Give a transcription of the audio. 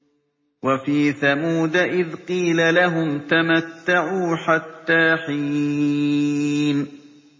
وَفِي ثَمُودَ إِذْ قِيلَ لَهُمْ تَمَتَّعُوا حَتَّىٰ حِينٍ